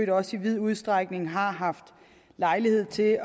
også i vid udstrækning har haft lejlighed til at